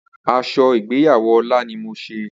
Aso igbeyawo Ola ni mo se.